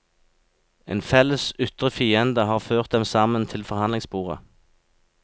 En felles ytre fiende har ført dem sammen til forhandlingsbordet.